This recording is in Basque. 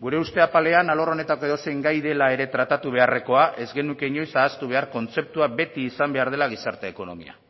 gure uste apalean alor honetako edozein gai dela ere tratu beharrekoa ez genuke inoiz ahaztu behar kontzeptua beti izan behar dela gizarte ekonomia